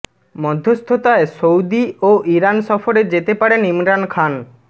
মধ্যস্থতায় Saudi ও Iran সফরে যেতে পারেন ইমরান খান